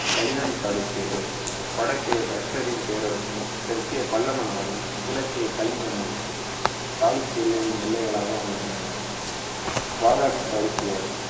கல்யாணி சாளுக்கியர்கள் வடக்கே ஹர்ஷரின் பேரரசும் தெற்கே பல்லவ நாடும் கிழக்கே கலிங்கமும் சாளுக்கியர்களின் எல்லைகளாக அமைந்தன வாதாபி சாளுக்கியர்